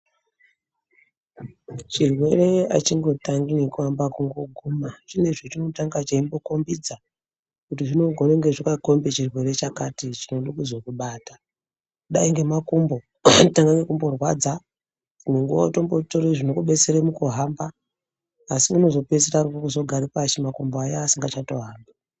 Chirwere achingotangi ngekuamba kungoguma chine zvechinotanga chembokombidza kuti zvinogone kudai zvakakombe chitwere chakati chichade kuzokubata dai ngemakumbo anotanga ngekumbokurwadza dzimwe nguwa wombotere zvinokudetsere mukuhamba asi unozopeisire kugara pashi makumbo aya asingachato hambi.